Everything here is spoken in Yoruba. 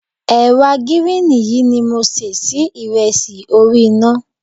Ẹ̀wà gíríìnì yìí ni mo ṣẹ́ sí ìrẹsì orí iná.